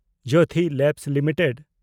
Jyothi lab limited